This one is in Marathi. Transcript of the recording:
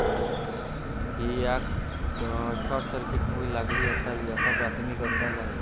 ही आग शॉर्टसर्किटमुळे लागली असावी, असा प्राथमिक अंदाज आहे.